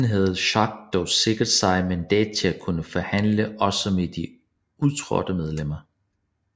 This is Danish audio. Forinden havde Schack dog sikret sig mandat til at kunne forhandle også med de udtrådte medlemmer